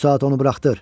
Bu saat onu buraxdır.